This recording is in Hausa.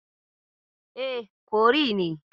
E, curry ne.